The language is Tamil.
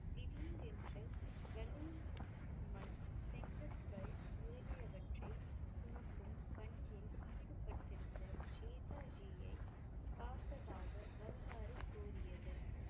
திடீரென்று செங்கற்கல் முதலியவற்றை சுமக்கும் பணியில் ஈடுபட்டிருந்த ஜேதா ஜியை பார்த்ததாக வரலாறு கூறியது.